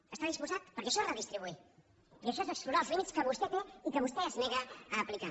hi està disposat perquè això és redistribuir i això és explorar els límits que vostè té i que vostè es nega a aplicar